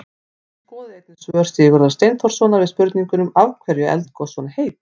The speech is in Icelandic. Skoðið einnig svör Sigurðar Steinþórssonar við spurningunum: Af hverju eru eldgos svona heit?